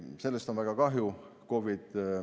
Sellest on väga kahju.